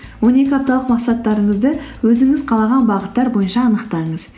он екі апталық мақсаттарыңызды өзіңіз қалаған бағыттар бойынша анықтаңыз